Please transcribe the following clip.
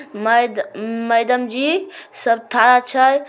मड-मैडम जी सब ठड़ा छै।